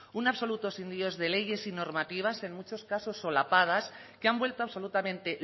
un absoluto de leyes y normativas en muchos casos solapadas que han vuelto absolutamente